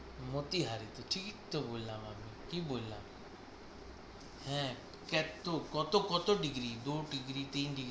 মতি হারি তো ঠিকই তো বললাম আমি। কি বললাম হ্যাঁ কেও কত কত ডিগ্রি দু ডিগ্রি তিন ডিগ্রি।